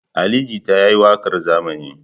Ali Jita ya yi waƙar zamani.